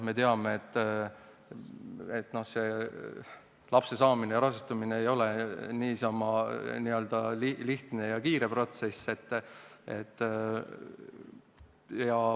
Me teame, et lapse saamine ja rasestumine ei ole niisama lihtne ega kiire protsess.